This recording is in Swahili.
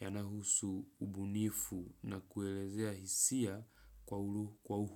yanahusu ubunifu na kueleza hisia kwa uhuru.